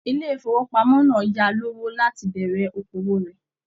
Ilé ifowopamọ náà yáa lówó láti bẹ̀rẹ̀ òkòwò rẹ.